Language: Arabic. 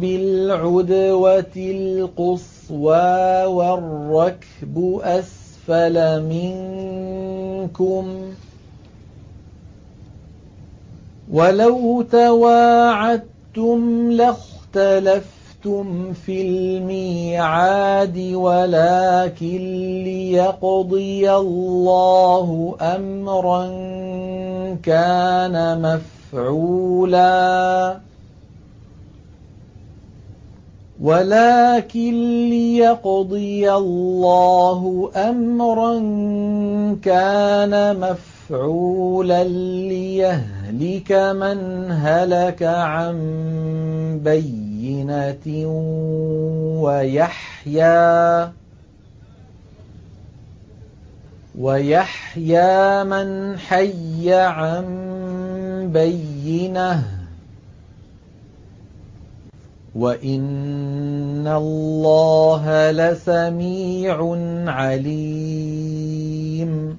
بِالْعُدْوَةِ الْقُصْوَىٰ وَالرَّكْبُ أَسْفَلَ مِنكُمْ ۚ وَلَوْ تَوَاعَدتُّمْ لَاخْتَلَفْتُمْ فِي الْمِيعَادِ ۙ وَلَٰكِن لِّيَقْضِيَ اللَّهُ أَمْرًا كَانَ مَفْعُولًا لِّيَهْلِكَ مَنْ هَلَكَ عَن بَيِّنَةٍ وَيَحْيَىٰ مَنْ حَيَّ عَن بَيِّنَةٍ ۗ وَإِنَّ اللَّهَ لَسَمِيعٌ عَلِيمٌ